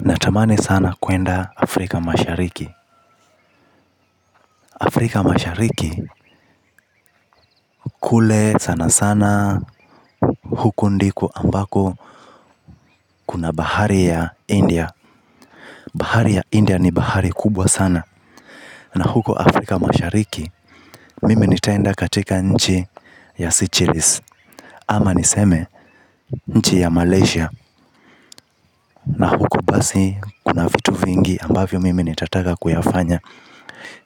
Natamani sana kwenda Afrika mashariki Afrika mashariki kule sana sana huko ndiko ambako kuna bahari ya India. Bahari ya India ni bahari kubwa sana na huko Afrika mashariki mimi nitaenda katika nchi ya Sychelis. Ama niseme nchi ya Malaysia Na huko basi kuna vitu vingi ambavyo mimi nitataka kuyafanya.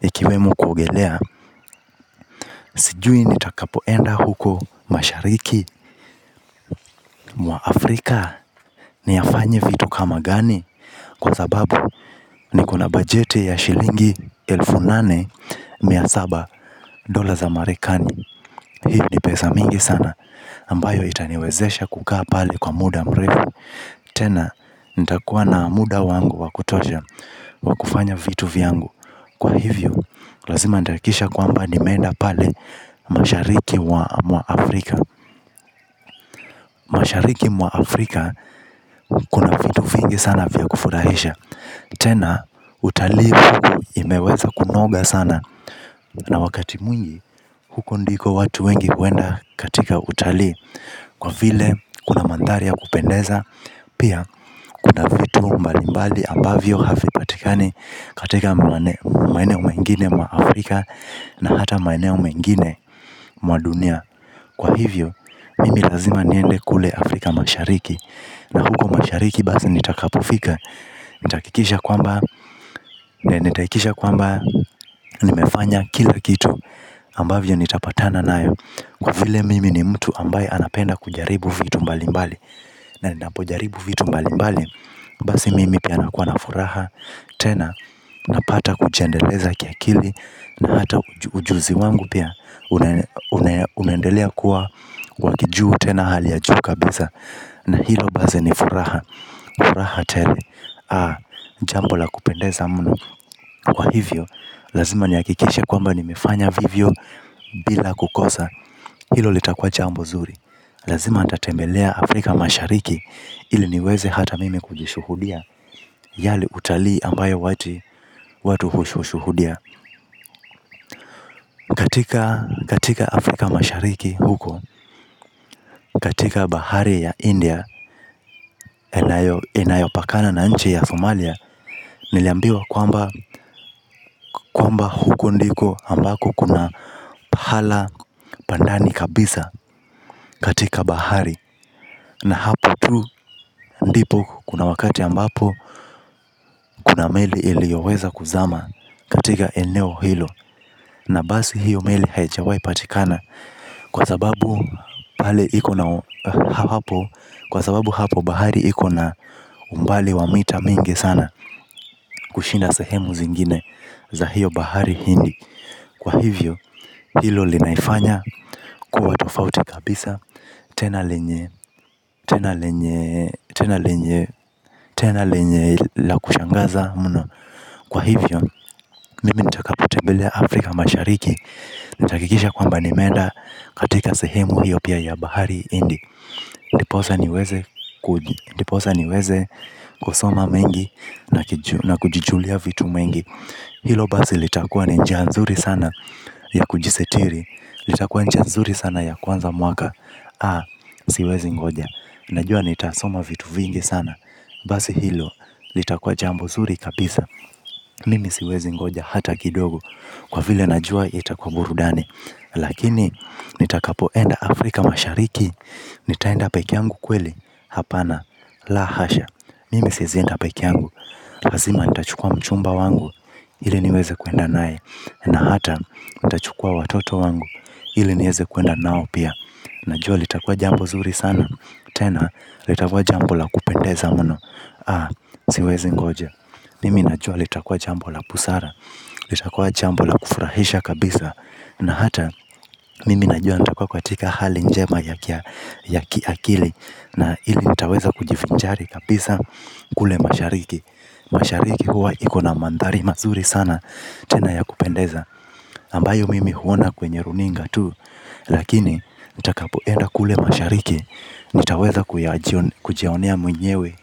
Ikiwemo kuogelea, sijui nitakapoenda huko mashariki mwa Afrika. Niyafanye vitu kama gani? Kwa sababu, nikona bajete ya shilingi elfu nane mia saba dola za marekani. Hii ni pesa mingi sana, ambayo itaniwezesha kukaa pale kwa muda mrefu. Tena, nitakuwa na muda wangu wakutosha wakufanya vitu vyangu kwa hivyo, lazima nitahakikisha kwamba nimeenda pale mashariki mwa Afrika. Mashariki mwa Afrika, kuna vitu vingi sana vya kufurahisha. Tena, utalii huku imeweza kunoga sana na wakati mwingi, huko ndiko watu wengi huenda katika utalii kwa vile, kuna mandhari ya kupendeza. Pia, kuna vitu mbali mbali abavyo havipatikani katika maeneyo mengine mwa Afrika Na hata maeneo mengine mwa dunia kwa hivyo, mimi lazima niende kule Afrika mashariki na huko mashariki basi nitakapofika nitahakikisha kwamba, nitahakikisha kwamba nimefanya kila kitu ambavyo nitapatana nayo kwa vile mimi ni mtu ambaye anapenda kujaribu vitu mbali mbali na ninapojaribu vitu mbali mbali basi mimi pia nakua na furaha. Tena, napata kujiendeleza kia kili na hata ujuzi wangu pia. Unaendelea kuwa wa kijuu tena hali ya juu kabisa na hilo basi ni furaha. Furaha tele. Jambo la kupendeza muno kwa hivyo lazima nihakikishe kwamba nimefanya vivyo. Bila kukosa. Hilo litakwa jambo nzuri. Lazima nitatembelea Afrika mashariki ili niweze hata mimi kujishuhudia yale utalii ambayo watu watu hushushuhudia. Katika Afrika mashariki huko. Katika bahari ya India inayopakana na nchi ya Somalia. Niliambiwa kwamba huko ndiko ambako kuna pahala pandani kabisa katika bahari na hapo tu ndipo kuna wakati ambapo kuna meli iliyoweza kuzama katika eneo hilo na basi hiyo meli haijawai patikana kwa sababu hapo bahari ikona umbali wamita mingi sana. Kushinda sehemu zingine za hiyo bahari hindi kwa hivyo, hilo linaifanya kuwa tofauti kabisa tena lenye tena lenye la kushangaza muno kwa hivyo, mimi nitakapotembelea Afrika mashariki nita hakikisha kwamba nimeenda katika sehemu hiyo pia ya bahari hindi. Ndiposa niweze kusoma mengi na kujijulia vitu mengi. Hilo basi litakuwa ni njia nzuri sana ya kujisitiri, litakua ni njia nzuri sana ya kuanza mwaka A, siwezi ngoja, najua nitasoma vitu vingi sana. Basi hilo, litakuwa jambo nzuri kabisa, mimi siwezi ngoja hata kidogo kwa vile najua, itakua burudani. Lakini, nitakapoenda Afrika mashariki, nitaenda pekee yangu kweli, hapana, la hasha. Mimi siezi enda pekee yangu lazima nitachukua mchumba wangu ili niweze kuenda naye na hata nitachukua watoto wangu ili nieze kuenda nao pia. Najua litakua jambo nzuri sana. Tena litakua jambo la kupendeza muno Aa, siwezi ngoja mimi najua litakua jambo la busara. Litakua jambo la kufurahisha kabisa na hata mimi najua nitakua katika hali njema ya ki akili na ili nitaweza kujivinjari kabisa kule mashariki mashariki kuwa iko na mandhari mazuri sana tena ya kupendeza ambayo mimi huona kwenye runinga tu. Lakini nitakapoenda kule mashariki. Nitaweza kujionea mwenyewe.